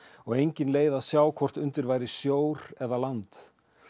og engin leið að sjá hvort undir væri sjór eða land